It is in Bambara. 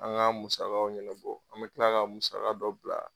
An ka musakaw ɲɛnɛbɔ, an bɛ kila ka musaka dɔ bila.